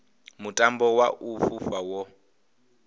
mutambo wa u fhufha wo